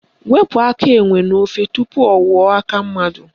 Wepu aka enwe n'ofe tupu ọ ghọọ aka mmadụ!